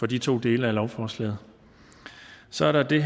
de to dele af lovforslaget så er der det